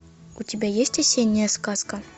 у тебя есть осенняя сказка